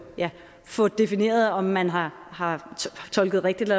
få defineret om man har har tolket rigtigt